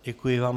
Děkuji vám.